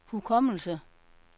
hukommelse